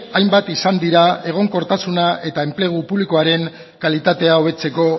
hainbat izan dira egonkortasuna eta enplegu publikoaren kalitatea hobetzeko